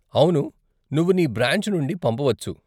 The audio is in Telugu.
అవును, నువ్వు నీ బ్రాంచ్ నుండి పంపవచ్చు.